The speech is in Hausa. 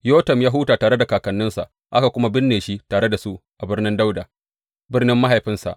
Yotam ya huta tare da kakanninsa, aka kuma binne shi tare da su a Birnin Dawuda, birnin mahaifinsa.